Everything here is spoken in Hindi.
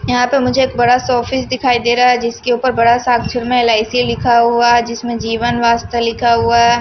यहां पे मुझे एक बड़ा सा ऑफिस दिखाई दे रहा हैजिसके ऊपर बड़ा साअक्षर में एल_आई_सी लिखा हुआ हैजिसमें जीवन वास्ता लिखा हुआ है।